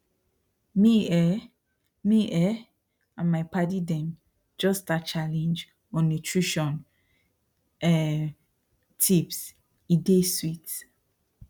me um me um and my padi them just start challenge on nutrition um tipse dey sweet